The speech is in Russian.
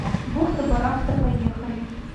бухта барахта поехали